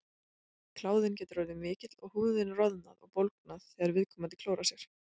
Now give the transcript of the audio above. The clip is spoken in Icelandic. kláðinn getur orðið mikill og húðin roðnað og bólgnað þegar viðkomandi klórar sér